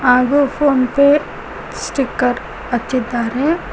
ಹಾಗು PhonePe sticker ಹಚ್ಚಿದ್ದಾರೆ.